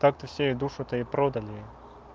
так то все и душу то и продали